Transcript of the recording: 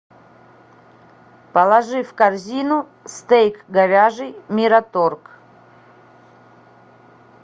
положи в корзину стейк говяжий мираторг